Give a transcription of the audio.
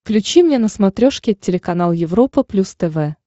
включи мне на смотрешке телеканал европа плюс тв